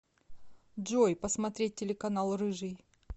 джой посмотреть телеканал рыжий